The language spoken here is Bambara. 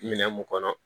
Minɛn mun kɔnɔ